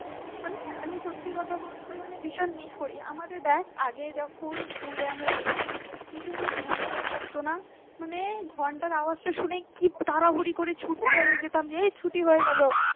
মানে আমি সত্যি কথা বলতে ভীষণ মিস করি আমাদের দেখ আগে যখন school আমরা যেতাম কি সুন্দর ঘন্টা পড়তো না মানে ঘন্টার আওয়াজ টা শুনে কি বলব তাড়াহুড়ি করে ছুটে যেতাম এই ছুটি হয়ে গেল